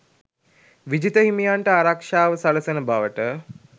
විජිත හිමියන්ට ආරක්ෂාව සලසන බවට